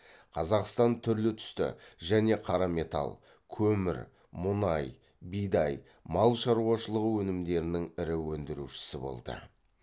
қазақстан түрлі түсті және қара металл көмір мұнай бидай мал шаруашылығы өнімдерінің ірі өндірушісі болды